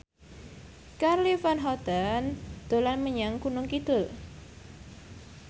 Charly Van Houten dolan menyang Gunung Kidul